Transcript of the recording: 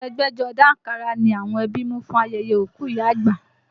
Aṣọ ẹgbẹ́jọdá àǹkárá ni àwọn ẹbí mú fún ayẹyẹ òkú ìyá àgbà